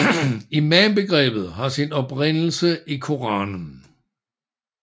Imambegrebet har sin oprindelse i Koranen